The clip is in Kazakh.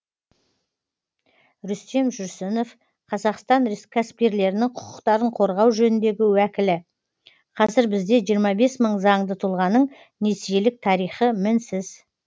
рүстем жүрсінов қазақстан кәсіпкерлерінің құқықтарын қорғау жөніндегі уәкілі қазір бізде жиырма бес мың заңды тұлғаның несиелік тарихы мінсіз